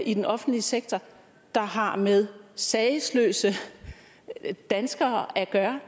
i den offentlige sektor der har med sagesløse danskere at gøre